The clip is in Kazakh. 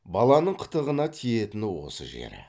баланың қытығына тиетіні осы жері